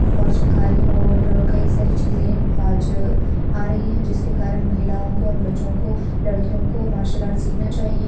और शिकारी और कई सारी चीजें आज आ रही है जिसके कारण महिलाओं को और बच्चों को लड़कियों को मार्शल आर्ट सीखना चाहिए।